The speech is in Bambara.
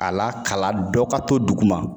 A lakalan dɔ ka to duguma